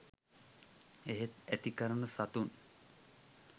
එහෙත් ඇති කරන සතුන්